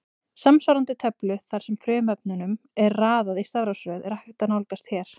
Samsvarandi töflu þar sem frumefnunum er raðað í stafrófsröð er hægt að nálgast hér.